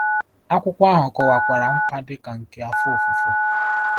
Akwụkwọ ahụ kọwakwara nkwa dị ka nke afọ ofufo.